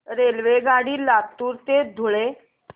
रेल्वेगाडी लातूर ते धुळे